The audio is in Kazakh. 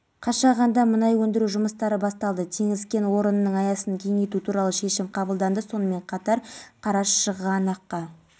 жазған екен судья да келісе қойып жылды жылға қысқартқан оның екі жылын қатаң тәртіптегі колонияда